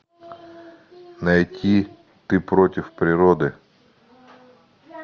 найти ты против природы